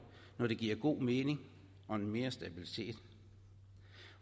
når det giver god mening og mere stabilitet